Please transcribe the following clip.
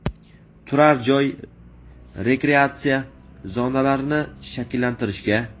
turar joy va rekreatsiya zonalarini shakllantirishga;.